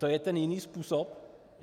To je ten jiný způsob?